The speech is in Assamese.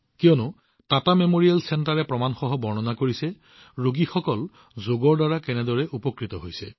কিয়নো টাটা মেমৰিয়েল কেন্দ্ৰই প্ৰমাণসহ জনাইছে যে ৰোগীসকলে যোগৰ দ্বাৰা কেনেদৰে লাভান্বিত হৈছে